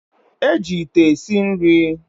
E ji ite esi nri